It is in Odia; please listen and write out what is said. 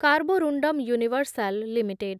Carborundum Universal limited